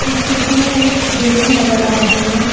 इस चित्र में एक बिल्डिंग नजर आ रही है।